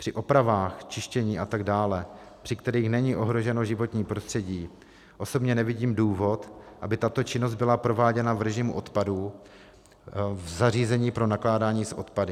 Při opravách čištění a tak dále, při kterých není ohroženo životní prostředí, osobně nevidím důvod, aby tato činnost byla prováděna v režimu odpadu v zařízení pro nakládání s odpady.